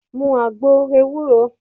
Mu agbo ewúro!